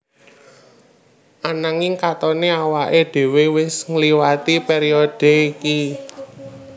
Ananging katoné awaké dhéwé wis ngliwati périodhe iki